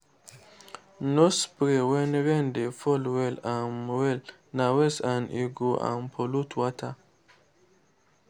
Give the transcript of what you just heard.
no spray when rain dey fall well um well—na waste and e go um pollute water.